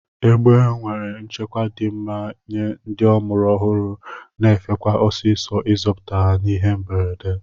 Egbe nwere nchekwa di mma nye ndi ọmụrụ ọhuru na efekwa ọsisọ izọpụta ha n'ihe mberede.